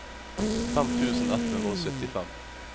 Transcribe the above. fem tusen ett hundre og syttifem